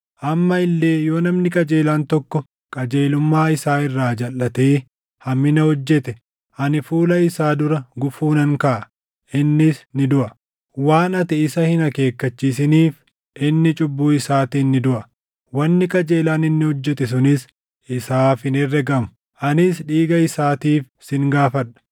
“Amma illee yoo namni qajeelaan tokko qajeelummaa isaa irraa jalʼatee hammina hojjete, ani fuula isaa dura gufuu nan kaaʼa; innis ni duʼa. Waan ati isa hin akeekkachiisiniif inni cubbuu isaatiin ni duʼa; wanni qajeelaan inni hojjete sunis isaaf hin herregamu; anis dhiiga isaatiif sin gaafadha.